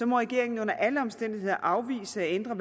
må regeringen under alle omstændigheder afvise at ændre